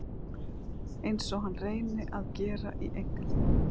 Einsog hann reyni að gera í einkalífinu.